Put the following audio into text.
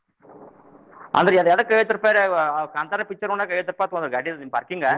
ಅಂದ್ರ ಅದ್ ಎದಕ್ಕ್ ಐವತ್ತ ರೂಪಾಯ್ರಿ ಅವ ಕಾಂತಾರ picture ನೋಡಾಕ ಐವತ್ತ ರೂಪಾಯಿ ತಗೊಂಡ್ರಾ ಗಾಡಿ parking .